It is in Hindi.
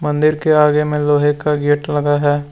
दिर के आगे में लोहे का गेट लगा है।